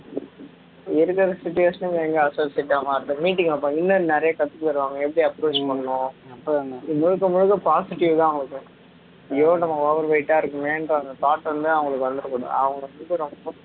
இருக்குற situation க்கு எங்க associate ஆ மாறுவது meeting வைப்பாங்க இன்னும் நிறைய கத்து தருவாங்க எப்படி approach பண்ணணும் இது முழுக்க முழுக்க positive தான் ஐயோ நம்ம over weight ஆ இருக்கோமேன்ற அந்த thought வந்து அவங்களுக்கு வந்துடக்கூடாது அவங்க வந்து ரொம்ப